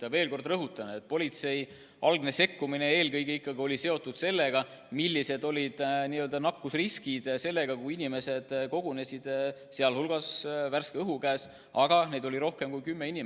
Ma veel kord rõhutan, et politsei algne sekkumine eelkõige ikkagi oli seotud sellega, milline oli nakkusrisk, kui inimesed kogunesid värske õhu käes, aga neid oli rohkem kui kümme.